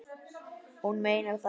Hún meinar það.